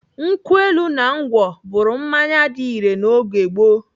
Nkwụ elu na ngwọ bụrụ mmanya dị irè na oge gboo.